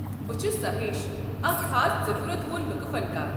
بہٕ چھُس ساہیش، اکھ خاص ضروٗرت وول لُكہٕ فنكار۔